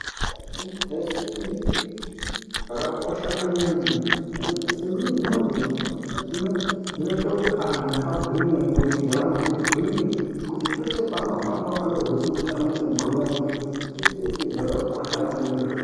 Kusumudza simbi zvakakosha maningi nekuti simbi dzinodzi, dzinoyita kuti anhu agwinye, mwiri dzevanhu dzigwinye, kuti pese panohamba anozva kuti arikugwinya kuti zvakakosha maningi.